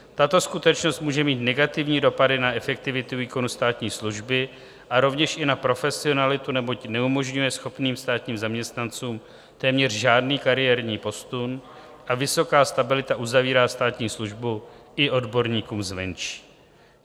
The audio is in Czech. Tato skutečnost může mít negativní dopady na efektivitu výkonu státní služby a rovněž i na profesionalitu, neboť neumožňuje schopným státním zaměstnancům téměř žádný kariérní posun a vysoká stabilita uzavírá státní službu i odborníkům zvenčí.